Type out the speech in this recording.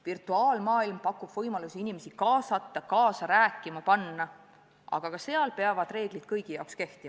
Virtuaalmaailm pakub võimalusi inimesi kaasata, kaasa rääkima panna, aga ka seal peavad reeglid kehtima kõigi kohta.